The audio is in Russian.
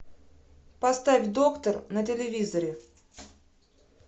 поставь доктор на телевизоре